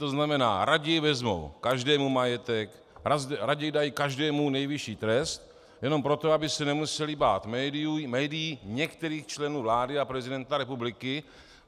To znamená raději vezmou každému majetek, raději dají každému nejvyšší trest jenom proto, aby se nemusely bát médií, některých členů vlády a prezidenta republiky.